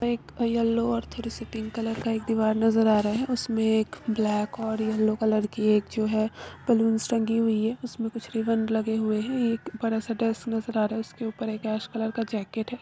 एक येलो और थोड़ी सी पिंक कलर का एक दीवार नजर आ रहा है इसमें एक ब्लैक और येलो कलर के एक जो है बलूंस टंगी हुई है इसमें कुछ रिबन लगे हुए हैं एक बड़ा सा डेस्क नजर आ रहा है उसके ऊपर कलर का जैकेट है।